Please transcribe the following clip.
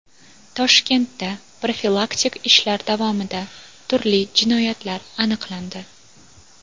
Toshkentda profilaktik ishlar davomida turli jinoyatlar aniqlandi.